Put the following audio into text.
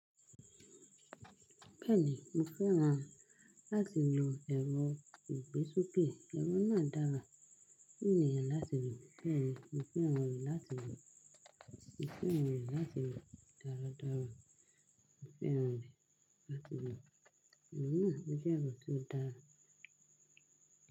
Bẹ́ẹ̀ni, mo fẹ́ràn láti lo ẹ̀rọ ìgbésoké. Ẹ̀rọ náà dára. Fún ènìyàn láti lò. Mo fẹ́ran rẹ̀ láti lò. Mo fẹ́ran rẹ̀ láti dára dára. Mo fẹ́ran rẹ̀ láti lò. Òun náà jẹ́ ẹ̀rọ tó dára.